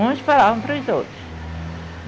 Uns falavam para os outros.